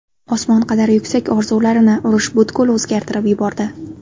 Osmon qadar yuksak orzularini urush butkul o‘zgartirib yubordi.